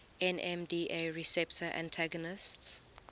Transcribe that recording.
nmda receptor antagonists